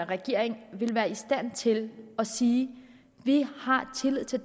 regeringen er i stand til at sige vi har tillid til